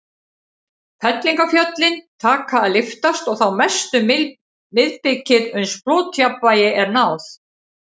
Fellingafjöllin taka að lyftast, og þá mest um miðbikið, uns flotjafnvægi er náð.